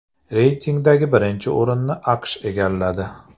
Reytingdagi birinchi o‘rinni AQSh egalladi.